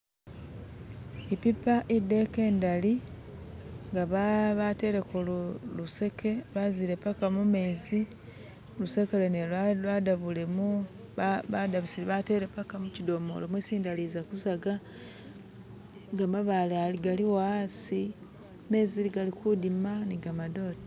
Epipa edeka endali nga ba bateleko luseke lwazile mpaka mumezi, luseke lwene lwadabule mu ba badabusile bateele mpaka muchidomolo mwesi endali ezakuzaga, ni gamabaale galiwo hasi gamezi galikudima ni gamadote